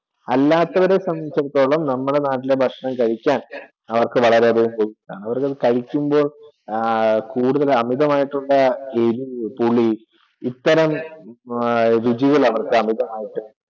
അല്ലാത്തവരെ സംബന്ധിച്ചിടത്തോളം നമ്മുടെ നാട്ടിലെ ഭക്ഷണം കഴിക്കാൻ അവർക്കു വളരെ ഇഷ്ടമാണ്, അവർക്കു കഴിക്കുമ്പോൾ ആഹ് കൂടുതൽ അമിതമായിട്ടുള്ള എരിവ് പുളി ഇത്തരം രുചികൾ അവർക്കു അമിതമായിട്ടു